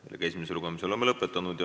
Oleme esimese lugemise lõpetanud.